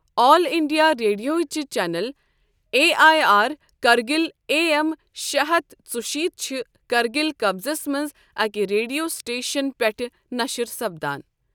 آل India ریڈیوٕ ہچہِ channel A I R Kargil A M شےٚ ہتھ ژُشیت چھِ کرگِل قصبس منٛز اَکہِ ریڈیو سٹیشن پٮ۪ٹھٕہ نَشٕر سپدان ۔